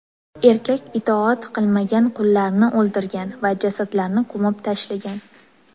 Erkak itoat qilmagan qullarni o‘ldirgan va jasadlarni ko‘mib tashlagan.